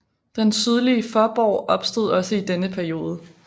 Den sydlige forborg opstod også i denne periode